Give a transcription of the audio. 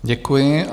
Děkuji.